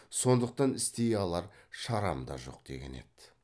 сондықтан істей алар шарам да жоқ деген еді